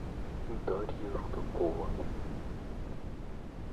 дарья рудакова